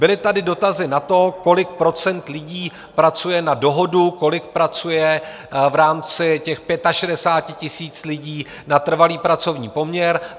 Byly tady dotazy na to, kolik procent lidí pracuje na dohodu, kolik pracuje v rámci těch 65 000 lidí na trvalý pracovní poměr.